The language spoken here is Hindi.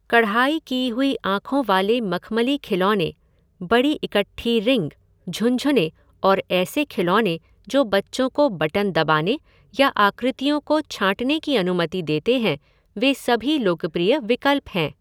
कढ़ाई की हुई आंखों वाले मखमली खिलौने, बड़ी इकट्ठी रिंग, झुनझुने और ऐसे खिलौने जो बच्चों को बटन दबाने या आकृतियों को छाँटने की अनुमति देते हैं, वे सभी लोकप्रिय विकल्प हैं।